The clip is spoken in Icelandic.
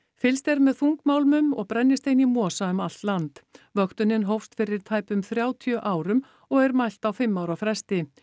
fylgst er með þungmálmunum og brennisteini í mosa um allt land vöktunin hófst fyrir tæpum þrjátíu árum og er mælt á fimm ára fresti